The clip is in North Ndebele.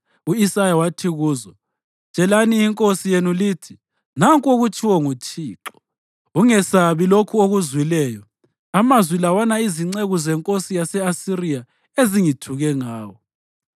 u-Isaya wathi kuzo, “Tshelani inkosi yenu lithi, ‘Nanku okutshiwo nguThixo: Ungesabi lokhu okuzwileyo, amazwi lawana izinceku zenkosi yase-Asiriya ezingithuke ngawo.